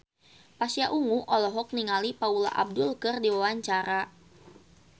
Pasha Ungu olohok ningali Paula Abdul keur diwawancara